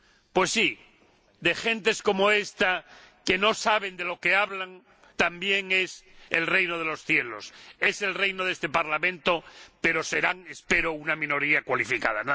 Pues sí, de gentes como estas, que no saben de lo que hablan, también es el Reino de los Cielos, es el reino de este Parlamento, pero serán —espero— una minoría cualificada.